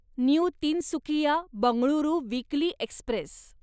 new Tinsukia Bengaluru weekly Express